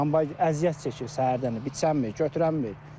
Kombay əziyyət çəkir səhərdən biçənmir, götürə bilmir.